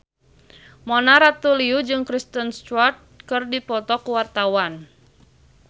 Mona Ratuliu jeung Kristen Stewart keur dipoto ku wartawan